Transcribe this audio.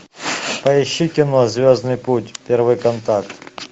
поищи кино звездный путь первый контакт